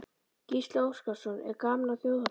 Gísli Óskarsson: Er gaman á þjóðhátíð?